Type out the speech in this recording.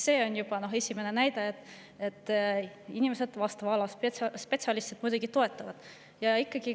See on juba esimene näide, et vastava ala spetsialistid muidugi toetavad seda.